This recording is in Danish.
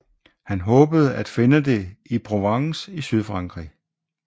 Han håbede at finde det i Provence i Sydfrankrig